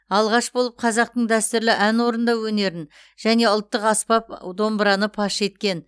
алғаш болып қазақтың дәстүрлі ән орындау өнерін және ұлттық аспап домбыраны паш еткен